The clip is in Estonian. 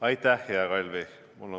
Aitäh, hea Kalvi!